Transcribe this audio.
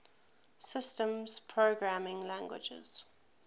systems programming languages